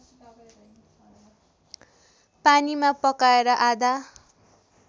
पानीमा पकाएर आधा